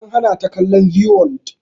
An hana ta kallon zee world